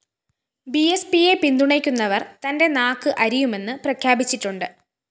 ബിഎസ്പിയെ പിന്തുണയ്ക്കുന്നവര്‍ തന്റെ നാക്ക് അരിയുമെന്ന് പ്രഖ്യാപിച്ചിട്ടുണ്ട്